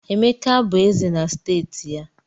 Emeka bụ Eze na steeti ya